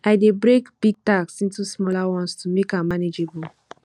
i dey break big tasks into smaller ones to make am manageable